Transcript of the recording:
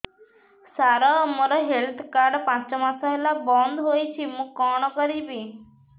ସାର ମୋର health card ପାଞ୍ଚ ମାସ ହେଲା ବଂଦ ହୋଇଛି ମୁଁ କଣ କରିବି